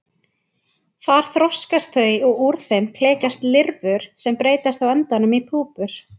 Þar þroskast þau og úr þeim klekjast lirfur sem breytast á endanum í púpur.